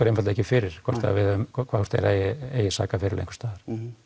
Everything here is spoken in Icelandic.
einfaldlega fyrir hvort þeir eigi sakaferil einhvers staðar